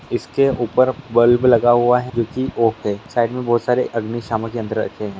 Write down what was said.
इसके ऊपर बल्ब लगा हुआ है जो की ओके साइड में बहुत सारे अग्निशामक यंत्र रखे है।